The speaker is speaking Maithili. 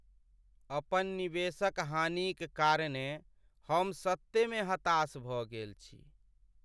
अपन निवेशक हानिक कारणेँ हम सत्ते में हताश भऽ गेल छी।